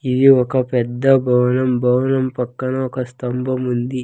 ఇది ఒక పెద్ద భవనం భవనం పక్కన ఒక స్తంభం ఉంది.